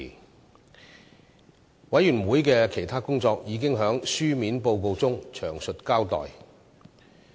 事務委員會的其他工作已在書面報告中詳細交代。